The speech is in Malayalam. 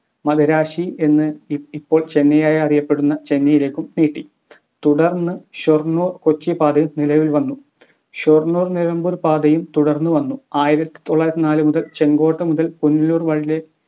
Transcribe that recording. മദിരാശി എന്ന് ഇപ് ഇപ്പൊ ചെന്നൈയായി അറിയപ്പെടുന്ന ചെന്നൈയിലേക്കും നീട്ടി തുടർന്ന് ഷൊർണൂർ കൊച്ചി പാതയും നിലവിൽ വന്നു. ഷൊർണുർ നിലമ്പൂർ പാതയും തുടർന്ന് വന്നു ആയിരത്തിത്തൊള്ളായിരത്തി നാല് മുതൽ ചെങ്കോട്ട മുതൽ പുനലൂർ